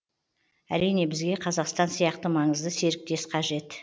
әрине бізге қазақстан сияқты маңызды серіктес қажет